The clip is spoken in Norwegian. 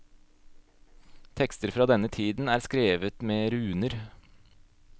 Tekster fra denne tiden er skrevet med runer.